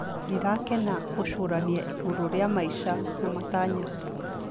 Ndĩrakenera gũcũrania igũrũ rĩa maica na matanya.